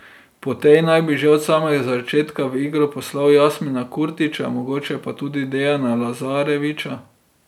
Po tej naj bi že od samega začetka v igro poslal Jasmina Kurtića, mogoče pa tudi Dejana Lazarevića.